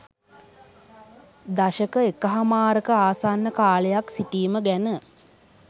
දශක එකහමාරක ආසන්න කාලයක් සිටීම ගැන